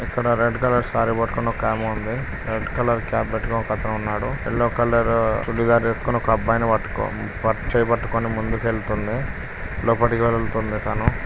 ఇక్కడ red colour సార కట్టుకుని ఒక ఆమె ఉంది. రెడ్ కలర్ క్యాప్ పెట్టుకుని ఒకతను ఉన్నాడు. ఎల్లో కలర్ చూడిదర్ వేసుకుని ఒక అబ్బాయి ని పట్టుకుని చెయ్ పట్టుకుని ముందుకి వెళ్తుంది. లోపటికి వెళ్తుంది తను--